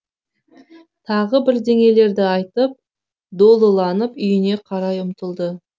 тағы бірдеңелерді айтып долыланып үйіне қарай ұмтылды